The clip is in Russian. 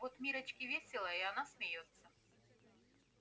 вот миррочке весело и она смеётся